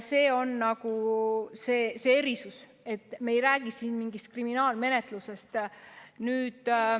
See on see erisus, et me ei räägi siin mingist kriminaalmenetlusest.